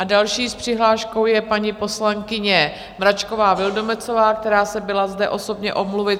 A další s přihláškou je paní poslankyně Mračková Vildumetzová, která se byla zde osobně omluvit.